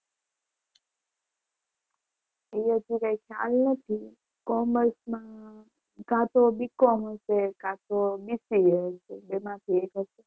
એવું તો કંઈ ખ્યાલ નથી. કોમર્સમાં કા તો BCOM કા તો BCA બેમાંથી એક જ.